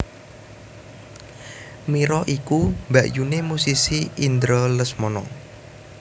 Mira iku mbakyuné musisi Indra Lesmana